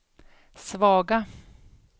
svaga